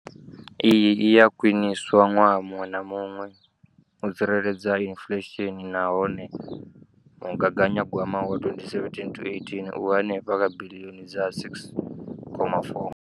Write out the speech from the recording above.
Iyi i a khwiniswa ṅwaha muṅwe na muṅwe u tsireledza inflesheni nahone mugaganyagwama wa 2017 to 18 u henefha kha biḽioni dza R6.4.